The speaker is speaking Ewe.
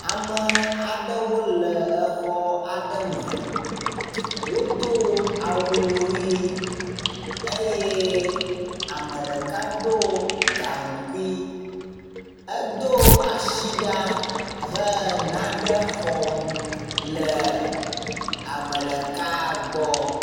Ame aɖewo le exɔ aɖe me. Wodo awu ʋi eye ame ɖeka ɖo gaŋkui edo asi ɖa he nane xɔm le ame ɖeka gbɔ.